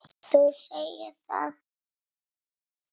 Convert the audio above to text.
Þú segir það!